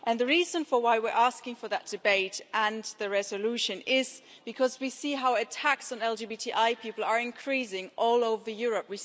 The reason we are asking for that debate and the resolution is because we see how attacks on LGBTI people are increasing all over Europe.